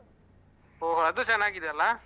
ಒಹ್ ಅದು ಚೆನ್ನಾಗಿದೆ ಅಲ?